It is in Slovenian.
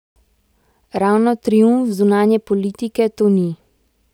Ravno triumf zunanje politike to ni.